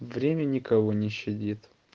время никого не щадит